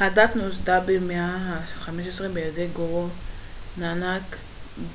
הדת נוסדה במאה ה-15 בידי גורו נאנאק